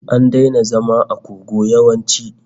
An daina zama a kogo yawanci